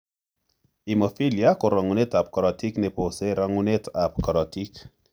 Hemophilia ko rongunetap korotik ne pose rongunetap korotik.